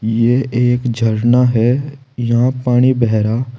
ये एक झरना है यहां पानी बह रहा--